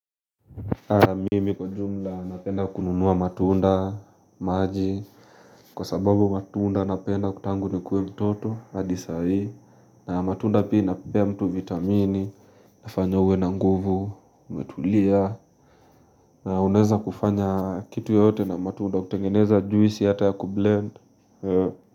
Mimi kwa jumla napenda kununua matunda, maji kwa sababu matunda napenda tangu nikue mtoto, hadi saa hii na matunda pia inapea mtu vitamini hufanya uwe na nguvu, umetulia Unaweza kufanya kitu yoyote na matunda, kutengeneza juisi hata ya kublend.